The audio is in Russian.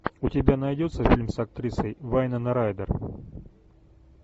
у тебя найдется фильм с актрисой вайнона райдер